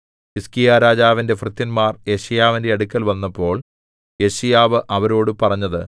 ഹിസ്കീയാരാജാവിന്റെ ഭൃത്യന്മാർ യെശയ്യാവിന്റെ അടുക്കൽ വന്നപ്പോൾ യെശയ്യാവ് അവരോടു പറഞ്ഞത്